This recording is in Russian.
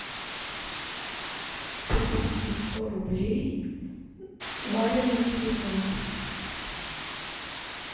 переведи сто рублей маме на телефон